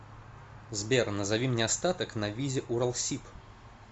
сбер назови мне остаток на визе уралсиб